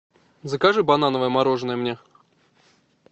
закажи банановое мороженое мне